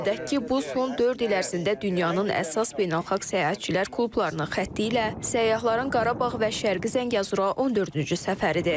Qeyd edək ki, bu son dörd il ərzində dünyanın əsas beynəlxalq səyahətçilər klublarının xətti ilə səyyahların Qarabağ və Şərqi Zəngəzura 14-cü səfəridir.